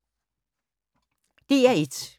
DR1